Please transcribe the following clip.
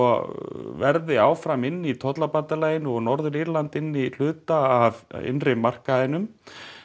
verði áfram inni í tollabandalaginu og Norður Írland inni í hluta af innri markaðinum